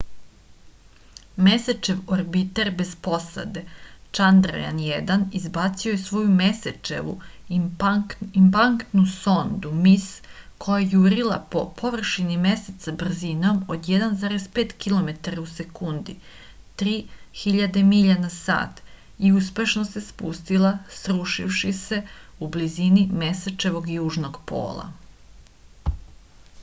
месечев орбитер без посаде чандрајан-1 избацио је своју месечеву импактну сонду mис која је јурила по површини месеца брзином од 1,5 километара у секунди 3000 миља на сат и успешно се спустила срушивши се у близини месечевог јужног пола